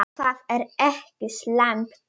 Og það er ekki slæmt.